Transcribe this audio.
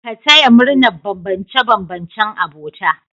Ka taya murnar bambance-bambancen abota